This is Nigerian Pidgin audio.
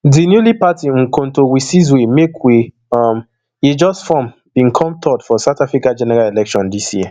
di newly party umkhonto wesizwe mk wey um e just form bin come third for south africa general election dis year um